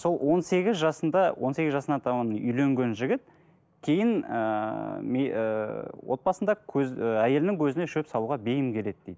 сол он сегіз жасында он сегіз жасына таман үйленген жігіт кейін ыыы ыыы отбасында көз і әйелінің көзіне шөп салуға бейім келеді дейді